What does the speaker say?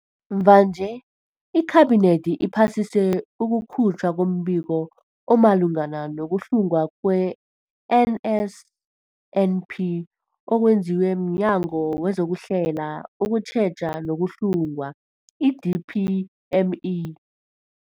Mvanje, iKhabinethi iphasise ukukhutjhwa kombiko omalungana nokuhlungwa kwe-NSNP okwenziwe mNyango wezokuHlela, ukuTjheja nokuHlunga, i-DPME.